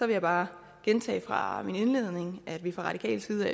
jeg bare gentage fra min indledning at vi fra radikal side